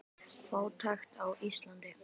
Fátækt á Íslandi